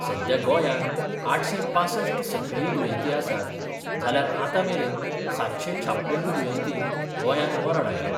सध्या गोंयान आठशे पांसठ सक्रिय दुयेंती आसात जाल्यार आतामेरेन सातशे छापन्न दुयेंतींक गोंयान मरण आयला.